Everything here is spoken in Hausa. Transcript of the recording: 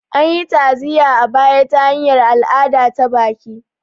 An yi ta'aziyya a baya ta hanyar al'ada ta baki